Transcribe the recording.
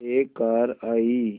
एक कार आई